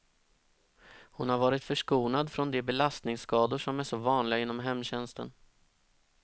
Hon har varit förskonad från de belastningsskador som är så vanliga inom hemtjänsten.